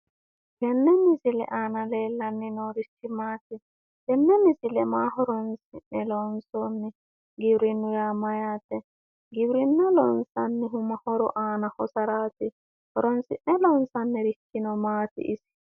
Tenne misile aana leellanni noorichi maati? Tenne misile maa horonsi'ne loonsoonni? Giwirinnu yaa mayyaate? Giwirinna loonsannihu ma horo aana hosaraati? Horonsi'ne loonsannirichino maati isi?